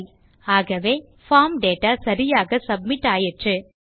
தேரே okay ஆகவே form data சரியாக submit ஆயிற்று